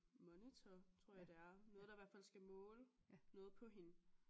Monitor tror jeg det er noget der i hvert fald skal måle noget på hende